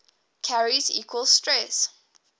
carries equal stress